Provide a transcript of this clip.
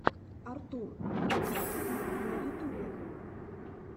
артур крутилин на ютубе